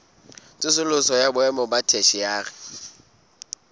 tsosoloso ya boemo ba theshiari